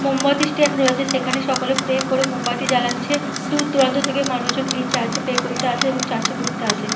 মোমবাতি স্ট্যান্ড রয়েছে সেখানে সকলে প্রে করে মোমবাতি জ্বালাচ্ছে। দূর দূরান্ত থেকে মানুষজন এই চার্চ এ প্রে করতে আসে এবং চার্চ - এ ঘুরতে আসে।